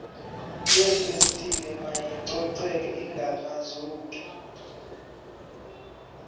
yeefestile mayicoceke ingakrazuki